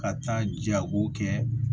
Ka taa jago kɛ